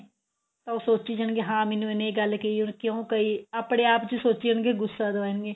ਤਾਂ ਉਹ ਸੋਚੀ ਜਾਣਗੇ ਹਾਂ ਮੈਂਨੂੰ ਇਹਨੇ ਇਹ ਗੱਲ ਕਹੀ ਉਹਨੇ ਕਿਉਂ ਕਹੀ ਆਪਣੇ ਆਪ ਚ ਸੋਚੀ ਜਾਣਗੇ ਗੁੱਸਾ ਕਰਨਗੇ